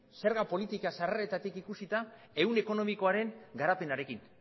zerga politika sarreretatik ikusita ehun ekonomikoaren garapenarekin